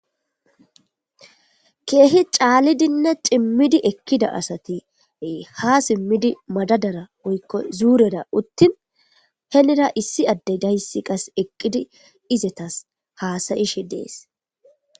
Keehi caalidonne cimidi ekida asati ha somidi madadara woykon zuureta uttin henira issi addeday eqidi izetas hasayoshe dees.